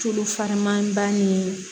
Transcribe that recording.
Tulu falenman ba ni